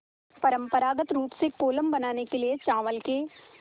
परम्परागत रूप से कोलम बनाने के लिए चावल के